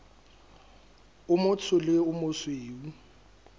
o motsho le o mosweu